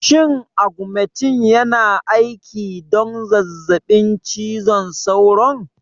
Shin augmentin yana aiki don zazzabin cizon sauron?